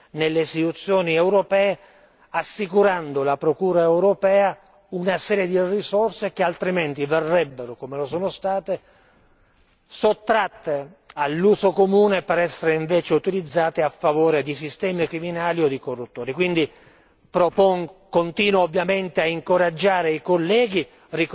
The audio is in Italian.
In questo modo certamente il cittadino potrà recuperare fiducia nelle istituzioni europee, assicurando alla procura europea una serie di risorse che altrimenti verrebbero, come lo sono state, sottratte all'uso comune per essere invece autorizzate a favore di sistemi criminali o di corruttori. Quindi